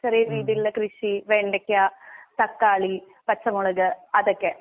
ചെറിയരീതിയിലുള്ള കൃഷി വെണ്ടയ്ക്ക, തക്കാളി, പച്ചമുളക് അതൊക്കെ.